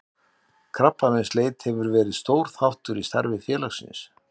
Krabbameinsleit hefur verið stór þáttur í starfi félagsins.